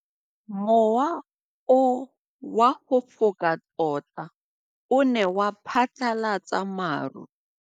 Mowa o wa go foka tota o ne wa phatlalatsa maru.